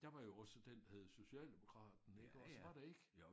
Der var jo også den der hed socialdemokraten iggås var der ikke?